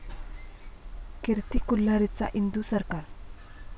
कीर्ती कुल्हारीचा 'इंदू सरकार'